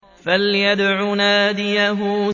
فَلْيَدْعُ نَادِيَهُ